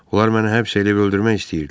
Onlar məni həbs eləyib öldürmək istəyirdilər.